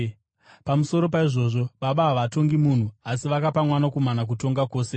Pamusoro paizvozvo, Baba havatongi munhu, asi vakapa Mwanakomana kutonga kwose,